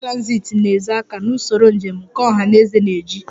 Mass transit na-ezo aka na usoro njem nke ọha na eze na-eji